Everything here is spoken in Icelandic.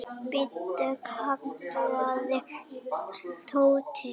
Bíddu! kallaði Tóti.